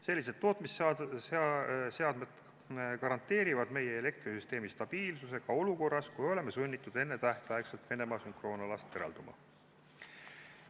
Sellised tootmisseadmed garanteerivad meie elektrisüsteemi stabiilsuse ka olukorras, kus oleme sunnitud enne tähtaega Venemaa sünkroonalast eralduma.